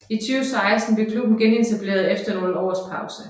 I 2016 blev klubben genetableret efter nogle års pause